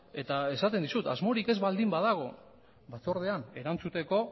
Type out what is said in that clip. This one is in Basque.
eta esaten dizut asmorik ez baldin badago batzordean erantzuteko